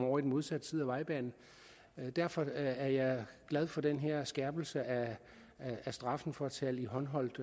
over i den modsatte side af vejbanen derfor er jeg glad for den her skærpelse af straffen for at tale i håndholdt